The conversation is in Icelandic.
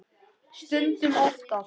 Stundum oftar.